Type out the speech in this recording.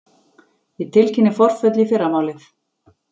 Ég tilkynni forföll í fyrramálið.